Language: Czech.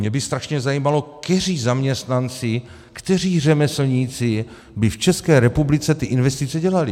Mě by strašně zajímalo, kteří zaměstnanci, kteří řemeslníci by v České republice ty investice dělali.